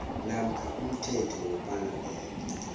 namkha umthetho wepalamende